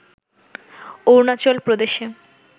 অরুণাচল প্রদেশে